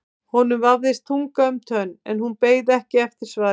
Honum vafðist tunga um tönn en hún beið ekki eftir svari.